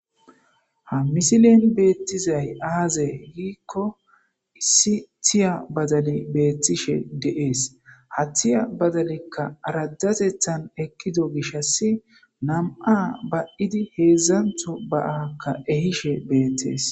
Ha misilen beettizay aaze giikko issi thiya badali beettishe deees hathiya badalekka rajatethan ekkido gishas nam7a ba7idi heedzdzantho baaakka ehishe beettees